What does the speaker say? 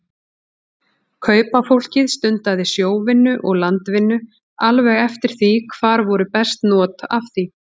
Kaupafólkið stundaði sjóvinnu og landvinnu alveg eftir því hvar voru best not af því.